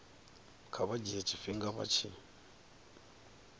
kha vha dzhie tshifhinga vha